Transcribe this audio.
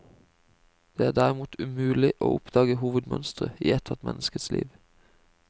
Det er derimot mulig å oppdage hovedmønstre i ethvert menneskes liv.